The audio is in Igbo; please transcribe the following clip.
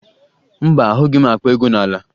Mba, ahụghị m akpa ego n'ala